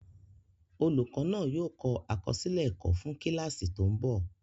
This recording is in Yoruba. Olùkọ́ náà yóò kọ àkọsílẹ̀ ẹ̀kọ́ fún kíláàsì tó ń bọ̀